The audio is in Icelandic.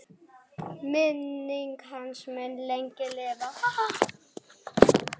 Minning hans mun lengi lifa.